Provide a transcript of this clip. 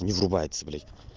не врубается блять